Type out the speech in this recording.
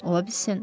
Ola bilsin.